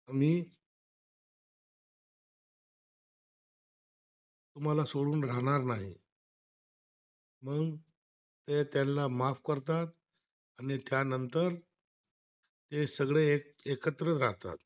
म्तेहणून त्यानां माफ करतात आणि त्यानंतर, ते सगळे एकत्र राहतात